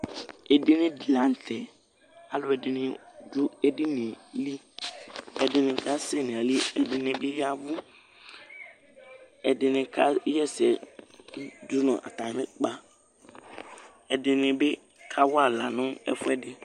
Ɛdiní di la ntɛ Alʋɛdìní du ɛdiní ye li Ɛdiní asɛ nʋ ayìlí, ɛdiní bi ya avu Ɛdiní ka ɣɛ ɛsɛ dʋnu atami ʋkpa Ɛdiní bi kawa aɣla nʋ ɛfʋɛdi